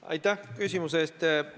Aitäh küsimuse eest!